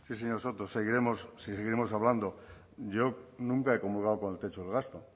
sí señor soto seguiremos hablando yo nunca he comulgado con el techo de gasto